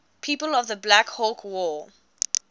people of the black hawk war